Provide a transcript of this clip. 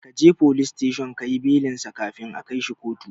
Kaje folis teshon kayi belinsa kafin a kaishi kotu